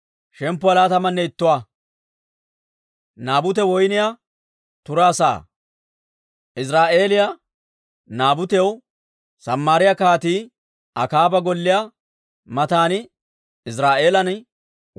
Iziraa'eeliyaa Naabutew Samaariyaa Kaatiyaa Akaaba golliyaa matan Iziraa'eelan woyniyaa turaa sa'ay de'ee.